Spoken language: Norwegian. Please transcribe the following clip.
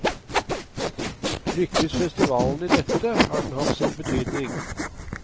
Lykkes festivalen i dette, har den hatt sin betydning.